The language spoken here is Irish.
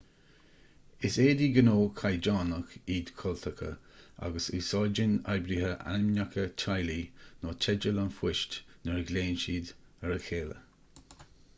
is éadaí gnó caighdeánach iad cultacha agus úsáideann oibrithe ainmneacha teaghlaigh nó teideal an phoist nuair a ghlaonn siad ar a chéile